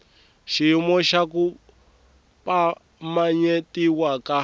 xiyimo xa ku pimanyetiwa ka